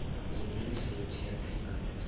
имеется ли у тебя пригород